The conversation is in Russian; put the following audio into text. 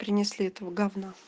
принесли этого говна